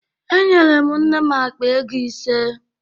Enyere m nne m akpa ego ise